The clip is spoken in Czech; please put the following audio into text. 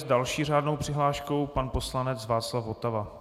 S další řádnou přihláškou pan poslanec Václav Votava.